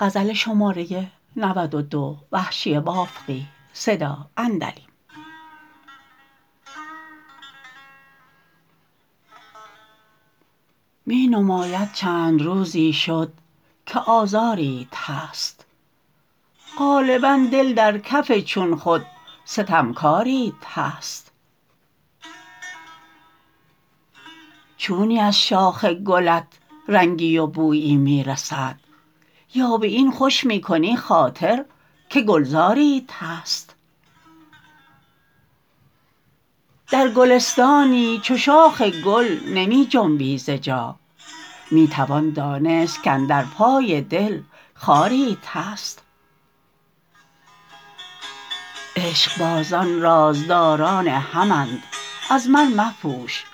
می نماید چند روزی شد که آزاریت هست غالبا دل در کف چون خود ستمکاریت هست چونی از شاخ گلت رنگی و بویی می رسد یا به این خوش می کنی خاطر که گلزاریت هست در گلستانی چو شاخ گل نمی جنبی ز جا می توان دانست کاندر پای دل خاریت هست عشقبازان رازداران همند از من مپوش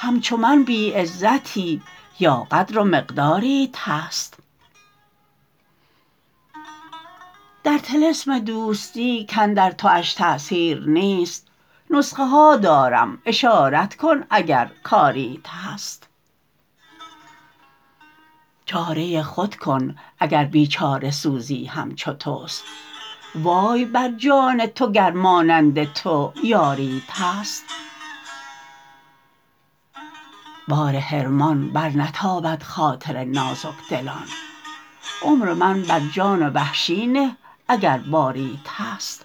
همچو من بی عزتی یا قدر و مقداریت هست در طلسم دوستی کاندر تواش تأثیر نیست نسخه ها دارم اشارت کن اگر کاریت هست چاره خود کن اگر بیچاره سوزی همچو تست وای بر جان تو گر مانند تو یاریت هست بار حرمان برنتابد خاطر نازک دلان عمر من بر جان وحشی نه اگر باریت هست